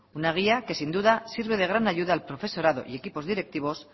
una guía que sin duda sirve de gran ayuda al profesorado y equipos directivos